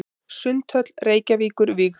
Sundhöll Reykjavíkur vígð.